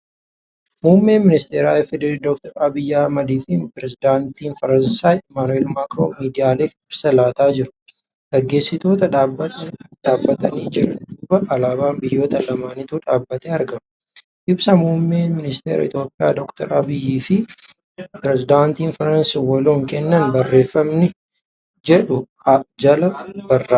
Muummeen ministara FDRI Dr. Abiyyi Ahmadii fi Pireezidaantiin Firaansi Imaanu'eel Maakiroon miidiyaaleef ibsa laataa jiru. Gaggeessitoota dhaabbatanii jiran duuba alaabaan biyyoota lamaanituu dhaabbatee argama. Ibsa Muummeen ministara Itiyoophiyaa Dr. Abiyyi fi Pireezidaantiin Firaansi waloon kennan barreeffamni jedhu jalaan barraa'eera.